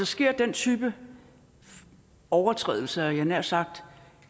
sker den type overskridelser af jeg havde nær sagt